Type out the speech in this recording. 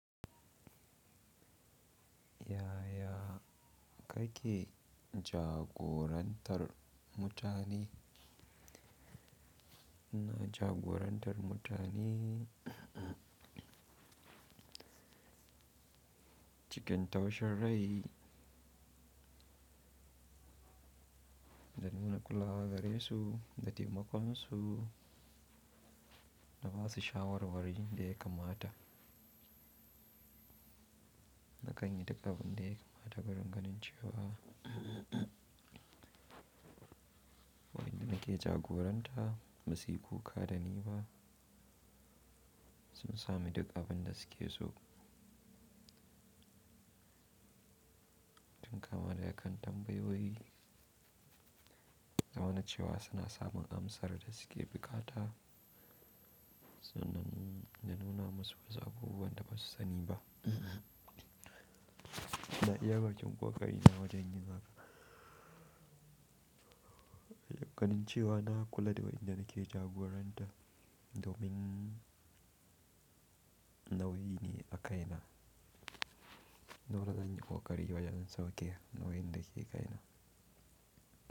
Yaya kake jagorantar mutane? Ina jagorantar mutane cikin taushen rai da nuna kulawa gare su da taimakon su da ba su shawarwari daya kamata. Da kan yi taƙabin dai kamata da gani cewa wayanda nake jagoranta ba su yi kuka da ni ba, sun sami duk abinda suke so. Tun kama daga kan tambayoyi, da wane cewa suna samun amsar da suke bukata, sannan na nuna musu wasu abubuwan da ba su sani ba. Ina iya baƙin ƙoƙari na wajen yin haka da ganin cewa na kula da wayanda nake jagoranta domin nauyi ne a kaina. Dole zan yi ƙoƙari wajen sauke wayanda ke kaina.